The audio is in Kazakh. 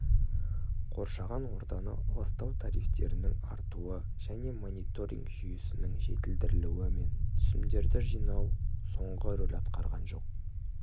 қоршаған ортаны ластау тарифтерінің артуы және мониторинг жүйесінің жетілдірілуі мен түсімдерді жинау соңғы рөл атқарған жоқ